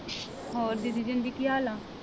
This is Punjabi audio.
ਹੋਰ ਜੀ ਕੀ ਹਾਲ ਆ?